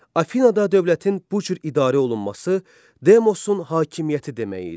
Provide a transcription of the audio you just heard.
Afinada dövlətin bu cür idarə olunması demosun hakimiyyəti demək idi.